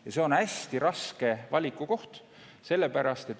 Ja see on hästi raske valiku koht.